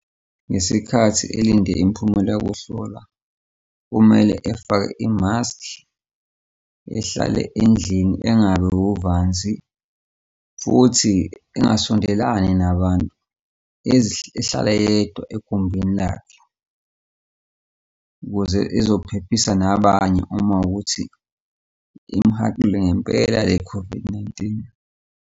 Ngesikhathi elinde imiphumela yokuhlolwa kumele efake imaskhi, ehlale endlini, engabi wuvanzi, futhi engasondelani nabantu, ehlala yedwa egumbini lakhe, ukuze ezophephisa nabanye uma kuwukuthi imhaqile ngempela le-COVID-19.